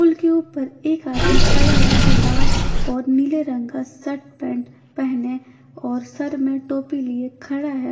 पुल के ऊपर एक आदमी खड़ा है जो लाल और नीले रंग का शर्ट पेंट पहने और सर में टोपी लिए खड़ा है।